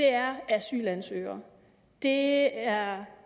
er asylansøgere det er